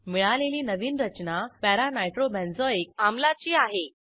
मिळालेली नवीन रचना para नायट्रोबेन्झोइक आम्लाची आहे